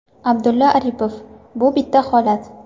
Abdulla Aripov: Bu bitta holat.